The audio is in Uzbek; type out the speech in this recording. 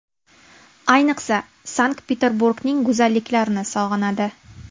Ayniqsa Sankt-Peterburgning go‘zalliklarini sog‘inadi.